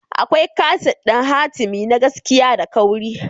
Akwai kaset ɗin hatimi na gaskiya da kauri.